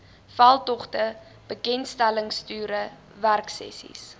veldtogte bekendstellingstoere werksessies